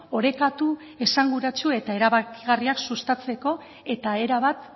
orekatu esanguratsu eta erabakigarriak sustatzeko eta erabat